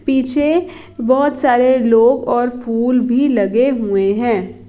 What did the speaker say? पीछे बोहोत सारे लोग और फूल भी लगे हुए हैं।